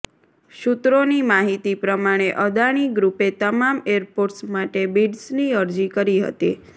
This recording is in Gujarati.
સૂત્રોની માહિતી પ્રમાણે અદાણી ગ્રુપે તમામ એરપોર્ટ્સ માટે બીડ્સની અરજી કરી હતી